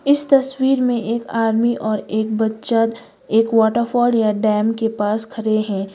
इस तस्वीर में एक आदमी और एक बच्चा एक वॉटरफॉल या डैम के पास खड़े हैं।